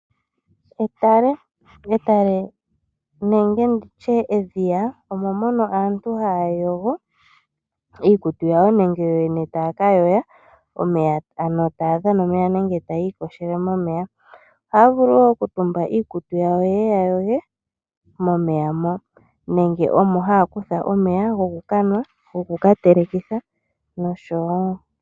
Etale nenge nditye edhiya omo mono aantu haya yogo iikutu yawo nenge yoyene taayogo omeya, ohaya vulu woo okutumba iikutu yawo ye yayoge momeya moka, nenge haya kutha mo omeya gokukanwa nenge goku katelekitha nosho wo.